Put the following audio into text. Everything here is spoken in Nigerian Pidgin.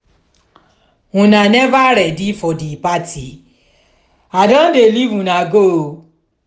una never ready for the party? i don dey leave una go oo